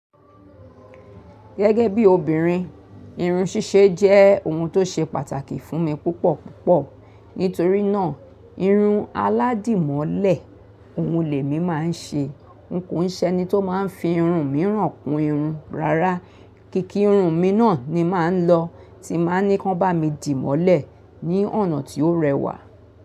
Gẹ́gẹ́ bí obìnrin, irun ṣíṣe jẹ́ ohun tó ṣe pàtàkì fún mi púpọ̀ púpọ̀. Nítorí náà, irun aládìmọ́lẹ̀ ohun lè mi máa ń ṣe. N ko s'eni to maa fi irun miiràn kún irun. Rárá, kì kí irun mi náà ni màá ń lọ, tí màá ni kan bá mi dì mọ́lẹ̀ ní ọ̀nà ti ó rẹwà.